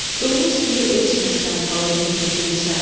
Donuz kimi eşmirsən palıdın kökünü sən.